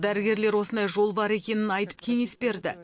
дәрігерлер осындай жол бар екенін айтып кеңес берді